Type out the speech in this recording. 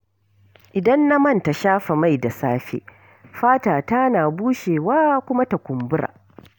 Idan na manta shafa mai da safe, fatata na bushewa kuma ta kumbura.